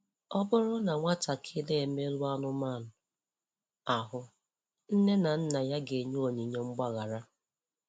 Ọ bụrụ na nwatakịrị emerụọ anụmanụ ahụ, nne na nna ya ga-enye onyinye mgbaghara.